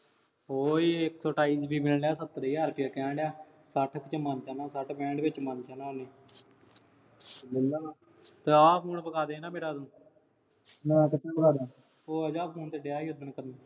ਉਹ ਇੱਕ ਸੌ ਅਠਾਈ GB ਮਿਲਣ ਡਿਆ, ਸੱਤਰ ਹਜ਼ਾਰ ਰੁਪਇਆ ਕਹਿਣ ਡਿਆ। ਸੱਠ ਕੁ ਚ ਮਨ ਜਾਣਾ। ਸੱਠ ਪੈਂਹਠ ਚ ਮੰਨ ਜਾਣਾ ਉਹਨੇ। ਤੇ ਆ phone ਵਿਕਾ ਦੇ ਨਾ ਮੇਰਾ ਤੂੰ। ਮੈਂ ਕਿੱਥੋਂ ਵਿਕਾ ਦਿਆਂ। ਭੁੱਲ ਗਿਆ phone ਤੇ ਕਿਹਾ ਸੀ ਓਦੇ ਤੈਨੂੰ।